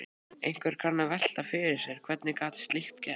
Einhver kann að velta fyrir sér: Hvernig gat slíkt gerst?